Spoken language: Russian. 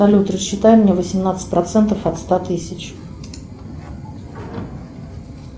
салют рассчитай мне восемнадцать процентов от ста тысяч